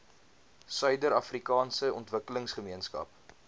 suider afrikaanse ontwikkelingsgemeenskap